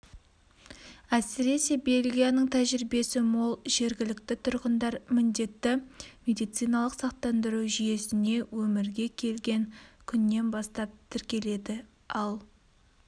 әсіресе бельгияның тәжірибесі мол жергілікті тұрғындар міндетті медициналық сақтандыру жүйесіне өмірге келген күннен бастап тіркеледі ал